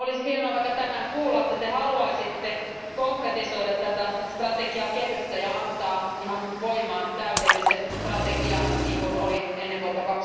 Olisi hienoa vaikka tänään kuulla, että te haluaisitte konkretisoida tätä strategiakehystä ja antaa ihan voimaan täydellisen strategian, niin kuin oli ennen vuotta